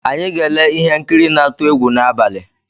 Anyị ga-ele ihe nkiri na-ntụ egwu n’abalị